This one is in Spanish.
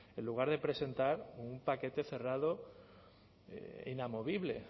en lugar de presentar un paquete cerrado e inamovible